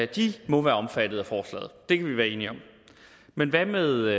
de må være omfattet af forslaget det kan vi være enige om men hvad med